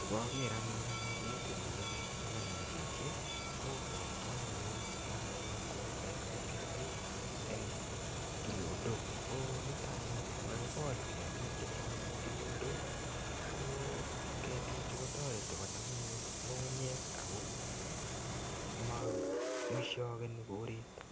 Ngaker anyun ane keti ni mining' ni kanam chichi kopwatwa anyun ng'alek ap kolset ap ketik eng' tulondok. Ko nita anyun ko kakikol ketik eng' tulondok ko ketichu kotareti konam anyun ng'ung'unyek ama ng'ishakani koret.